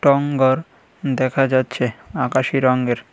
টং গর দেখা যাচ্ছে আকাশি রঙের।